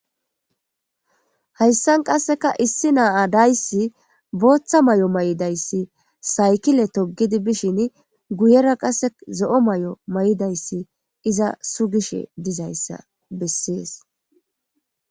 Hayssan qasseka issi naaa dayssi booththa may'o may'idayssi saykile togidi bishin guyera qase zo'o may'o may'dayssi iza su gishe dizayssa bessees.